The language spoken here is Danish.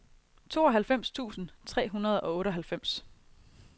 tooghalvfems tusind tre hundrede og otteoghalvfems